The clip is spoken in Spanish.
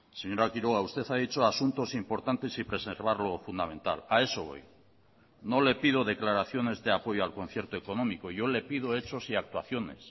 señora quiroga usted ha dicho asuntos importantes y preservar lo fundamental a eso voy no le pido declaraciones de apoyo al concierto económico yo le pido hechos y actuaciones